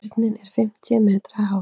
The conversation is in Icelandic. Turninn er fimmtíu metra hár.